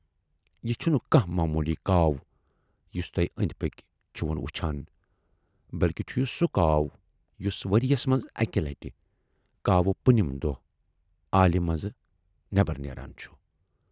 یہِ چھُنہٕ کانہہ موموٗلی کاو یُس تُہۍ ٲندۍ پٔکۍ چھِہوٗن وُچھان، بٔلۍکہِ چھُ یہِ سُہ کاو یُس ؤرۍیَس منز اکہِ لٹہِ کاوٕ پُنِم دۅہ آلہِ منز نٮ۪بر نیران چُھ۔